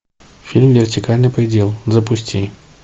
фильм вертикальный предел запусти